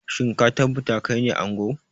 Shin ka tabbata kaine ango?